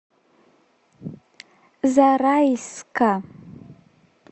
зарайска